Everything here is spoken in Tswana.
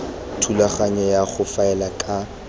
thulaganyong ya go faela ka